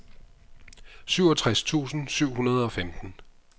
syvogtres tusind syv hundrede og femten